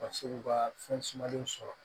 Ka se k'u ka fɛn sumalenw sɔrɔ